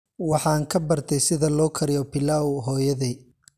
Waxaan ka bartay sida loo kariyo pilau hooyaday.